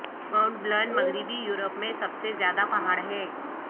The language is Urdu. مونٹ بلن مغربی یورپ میں سب سے زیادہ پہاڑ ہے